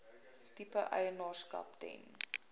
tipe eienaarskap ten